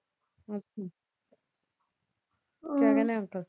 ਅੱਛਾ ਕਿਆ ਕਹਿੰਦੇ ਅੰਕਲ?